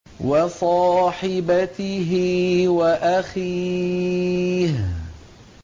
وَصَاحِبَتِهِ وَأَخِيهِ